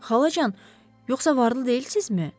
Xalacan, yoxsa varlı deyilsizmi?